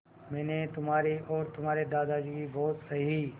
मैंने तुम्हारी और तुम्हारे दादाजी की बहुत सही